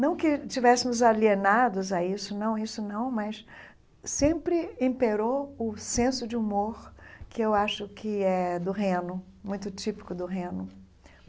Não que tivéssemos alienados a isso, não, isso não, mas sempre imperou o senso de humor que eu acho que é do Reno, muito típico do Reno.